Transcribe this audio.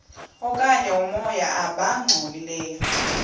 okanye oomoya abangcolileyo